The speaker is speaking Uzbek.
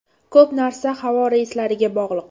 Ko‘p narsa havo reyslariga bog‘liq.